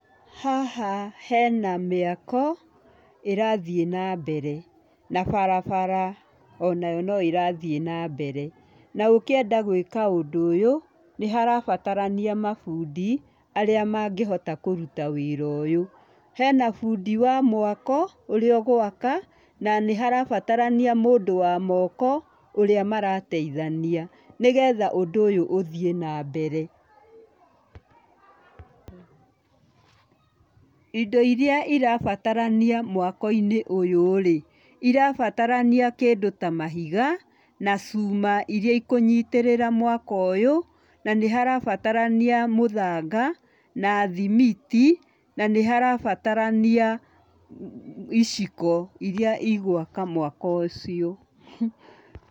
Haha hena mĩako ĩrathiĩ na mbere, na barabara onayo no ĩrathiĩ na mbere. Na ũkĩenda gũĩka ũndũ ũyũ nĩ harabatarania mabundi, arĩa mangĩhota kũruta wĩra ũyũ. Hena bundi wa mwako ũrĩa ũgwaka, na nĩ harabatarania mũndũ wa moko, ũrĩa marateithania, nĩgetha ũndũ ũyũ ũthiĩ na mbeere. Indo irĩa irabatarania mwako-inĩ ũyu rĩ, irabatarania kĩndũ ta mahiga na cuma ĩria ikũnyitĩrĩra mwako ũyũ, na nĩ harabatarania mũthanga na thimiti, na nĩharabatarania iciko iria igwaka mwako ũcio.